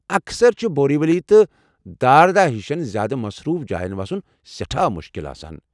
اکثر چھُ بوری ولی تہٕ داردا ہشن زیٛادٕ مصروٗف جاین وسُن سٮ۪ٹھاہ مُشکل آسان۔